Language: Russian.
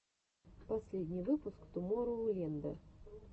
последний выпуск тумороу ленда